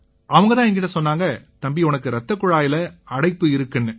அவங்க தான் என்கிட்ட சொன்னாங்க தம்பி உனக்கு இரத்தக்குழாய்ல அடைப்பு இருக்குன்னாரு